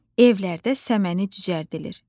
Evlərdə səməni cücərdilir.